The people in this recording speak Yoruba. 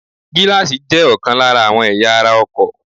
Gíláàsì jé òkan lára àwọn ẹ̀yà ara ọkò